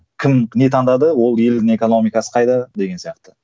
кім не таңдады ол елдің экономикасы қайда деген сияқты